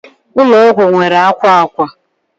ụlọ ọgwụ nwere akwa akwa